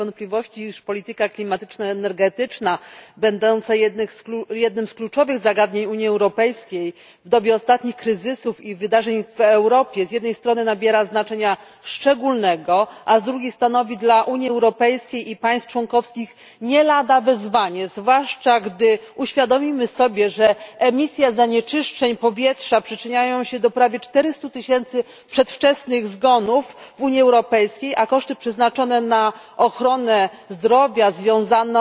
Pani Przewodnicząca! Nie ulega wątpliwości, iż polityka klimatyczna, energetyczna będące jednym z kluczowych zagadnień Unii Europejskiej, w dobie ostatnich kryzysów i wydarzeń w Europie z jednej strony nabiera znaczenia szczególnego, a z drugiej stanowi dla Unii Europejskiej i państw członkowskich nie lada wyzwanie, zwłaszcza gdy uświadomimy sobie, że emisja zanieczyszczeń powietrza przyczynia się do prawie 400 tysięcy przedwczesnych zgonów w Unii Europejskiej, a koszty przeznaczone na ochronę zdrowia związaną